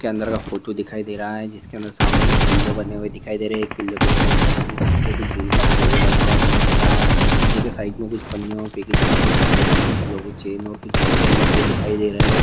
के अंदर का फोटो दिखाई दे रहा है जिसके अंदर सामने के कुछ पिल्लो बने दिखाई दे रहे है एक पिल्लो के ऊपर इंग्लिश में कुछ लिखके कुछ दिल कालोगो बना हुआ दिखाई दे रहा है नीचे साइड में कुछ कुछ डब्बों में कुछ लोगो चैन और कीचेन रखे दिखाई दे रहे है।